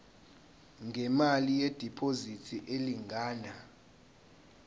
ngemali yediphozithi elingana